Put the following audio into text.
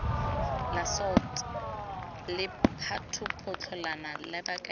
la salt lephatapotlana la bokaedi